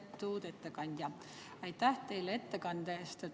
Lugupeetud ettekandja, aitäh teile ettekande eest!